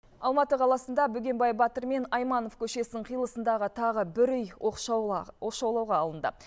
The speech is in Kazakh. алматы қаласында бөгенбай батыр мен айманов көшесінің қиылысындағы тағы бір үй оқшаулауға алынды